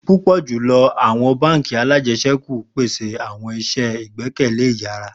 Pupọ julọ awọn bánk alájẹsẹ́kù pese awọn iṣẹ igbẹkẹle iyara